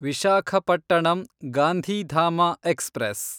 Visakhapatnam Gandhidham express